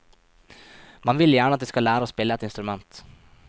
Man vil gjerne at de skal lære å spille et instrument.